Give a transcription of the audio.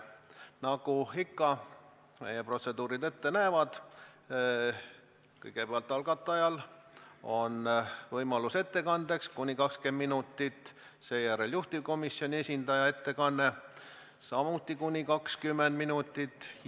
Nagu ikka, näevad meie protseduurid ette, et kõigepealt on algatajal võimalus ettekandeks kuni 20 minutit, seejärel on juhtivkomisjoni esindaja ettekanne, samuti kuni 20 minutit.